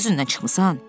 Niyə özündən çıxmısan?